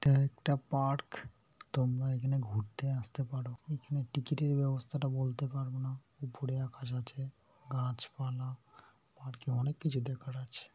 এটা একটা পার্ক তোমরা এখানে ঘুরতে আসতে পারো এখানে টিকিটের ব্যবস্থাটা বলতে পারব না ওপরে আকাশ আছে গাছপালা পার্ক -এ কিছু দেখার আছে ।